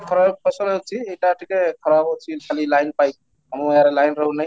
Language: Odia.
ଖରାର ଫସଲ ହେଉଛି, ଏଇଟା ଟିକେ ଖରାପ ହେଉଛି ଖାଲି line ପାଇଁ ଆମ ଗାଁରେ line ରହୁନି